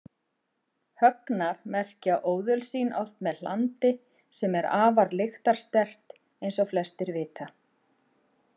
Högnar merkja óðöl sín oft með hlandi sem er afar lyktarsterkt eins og flestir vita.